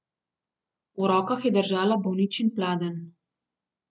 V rokah je držala bolničin pladenj.